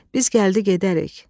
Biz gəldi gedərik.